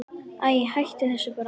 Æi, hættu þessu bara.